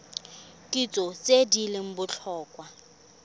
kitso tse di leng botlhokwa